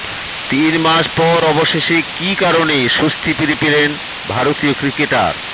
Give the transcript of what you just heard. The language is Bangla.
তিন মাস পর অবশেষে কী কারণে স্বস্তি ফিরে পেলেন ভারতীয় ক্রিকেটার